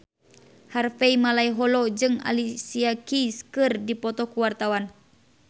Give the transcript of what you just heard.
Harvey Malaiholo jeung Alicia Keys keur dipoto ku wartawan